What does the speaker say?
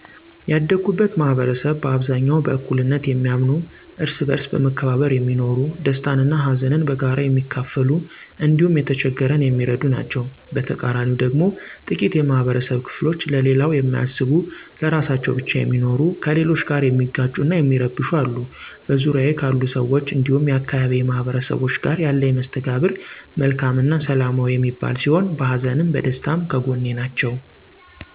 ያደኩበት ማህበረሰብ በአብዛኛው በእኩልነት የሚያምኑ፣ እርስ በእርስ በመከባበር የሚኖሩ፣ ደስታን እና ሀዘንን በጋራ የሚካፈሉ እንዲሁም የተቸገረን የሚረዱ ናቸዉ። በተቃራኒው ደግሞ ጥቂት የማህበረብ ክፍሎች ለሌላው የማያስቡ ለራሳቸው ብቻ የሚኖሩ፣ ከሌሎች ጋር የሚጋጩ እና የሚረብሹ አሉ። በዙሪያዬ ካሉ ሰዎች እንዲሁም የአካባቢዬ ማህበረሰቦች ጋር ያለኝ መስተጋብር መልካም እና ሰላማዊ የሚባል ሲሆን በሀዘንም በደስታም ከጐኔ ናቸው።